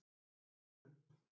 Kjarrhólum